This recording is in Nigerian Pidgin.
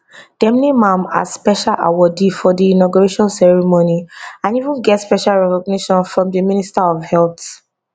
dem name am as special awardee for di inauguration ceremony and even get special recognition from di minister of health